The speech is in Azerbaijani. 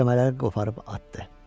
Qəlsəmələri qoparıb atdı.